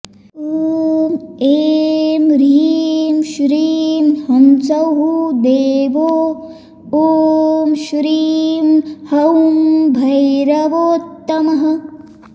ॐ ऐं ह्रीं श्रीं ह्सौः देवो ॐ श्रीं हौं भैरवोत्तमः